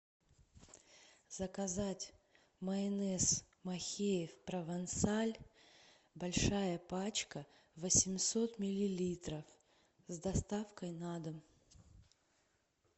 заказать майонез махеев провансаль большая пачка восемьсот миллилитров с доставкой на дом